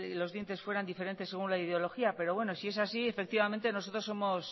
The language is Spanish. los dientes fueran diferentes según la ideología pero bueno si es así efectivamente nosotros